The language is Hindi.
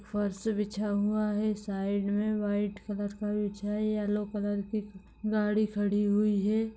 फर्स बिछा हुवा है साइड मे व्हाइट कलर का बिछा है येलो कलर की गाड़ी खड़ी हुई है।